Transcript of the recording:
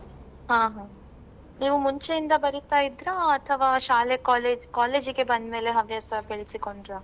ಆ ಹಾ. ನೀವ್ ಮುಂಚೆಯಿಂದ ಬರೀತಾ ಇದ್ರಾ ಅಥವಾ ಶಾಲೆ, college college ಗೆ ಬಂದ್ ಮೇಲೆ ಹವ್ಯಾಸ ಬೆಳೆಸಿಕೊಂಡ್ರಾ?